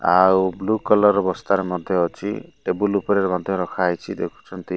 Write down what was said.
ଆଉ blue collar ର ବସ୍ତାରେ ମଧ୍ଯ ଅଛି ଟେବୁଲ ଉପରେ ମଧ୍ଯ ରଖା ହୋଇଛି ଦେଖୁଛନ୍ତି।